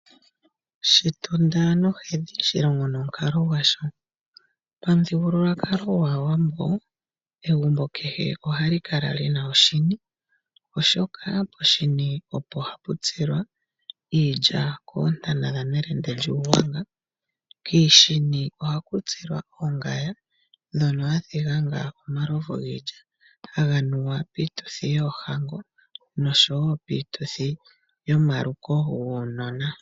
Shitunda nohedhi shilongo nomukali gwasho. Pamuthigululwakalo gwaawambo egumbo kehe ohali kala lina oshini oshoka Poshini opo hapu tsilwa iilya koontana dha nelende lyuugwanga . Kiishini oko haku tsilwa ongaya ndjono hayi hangwa omalovu giilya ngono haga nuwa piituthi yoohango noshowo piituthi yomaluko guunona.